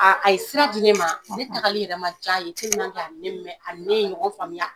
a ye sira di ne ma ne tagali yɛrɛ man diy'a ye ani ne mɛ ani ne ye ɲɔgɔn faamuya.